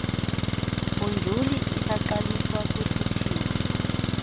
modyuli isaqaliswa kwisithili